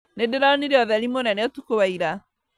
Nĩndĩronire ũtheri mũnene ũtukũ wa ira